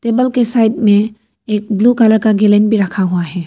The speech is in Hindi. टेबल के साइड में एक ब्लू कलर का गैलन भी रखा हुआ है।